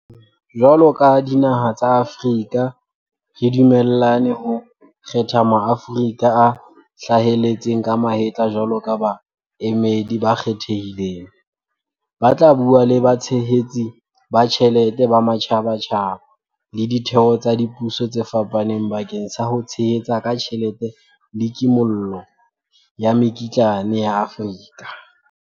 Ka hoo, jwalo ka dinaha tsa Afrika re dumellane ho kgetha Maaforika a hlaheletseng ka mahetla jwalo ka baemedi ba kgethehileng, ba tla bua le batshehetsi ba tjhelete ba matjhabatjhaba le ditheo tsa dipuso tse fapaneng bakeng sa ho tshehetsa ka tjhelete le kimollo ya mekitlane ya Afrika.